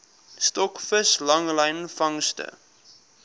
stokvis langlyn vangste